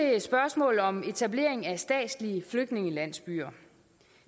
spørgsmålet om etablering af statslige flygtningelandsbyer